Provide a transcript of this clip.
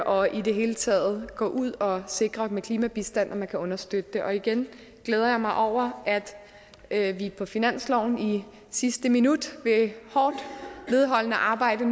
og i det hele taget gå ud og sikre med klimabistand at man kan understøtte det og igen glæder jeg mig over at vi på finansloven i sidste minut ved hårdt vedholdende arbejde